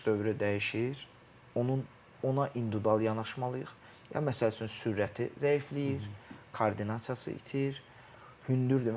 Onun yaş dövrü dəyişir, onun ona individual yanaşmalıyıq, ya məsəl üçün sürəti zəifləyir, koordinasiyası itir, hündürdür.